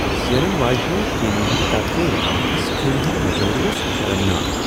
زینن واجنہ ٹیمہ ہنٛد طرفہٕ ناقص کھیلہ ہُند مظٲہرٕ اوس شرمناک۔